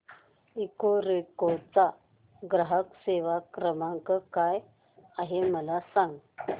Ecoreco चा ग्राहक सेवा क्रमांक काय आहे मला सांग